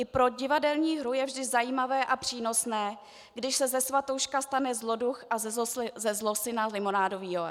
I pro divadelní hru je vždy zajímavé a přínosné, když se ze svatouška stane zloduch a ze zlosyna Limonádový Joe.